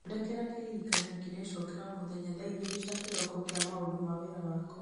thondekera kĩririkania kĩrecokera o mũthenya thaa igĩrĩ cia kĩroko kĩa maũndũ ma wĩra wakwa